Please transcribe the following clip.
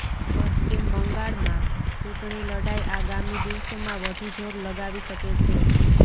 પશ્ચિમ બંગાળમાં ચૂંટણી લડાઈ આગામી દિવસોમાં વધુ જોર લગાવી શકે છે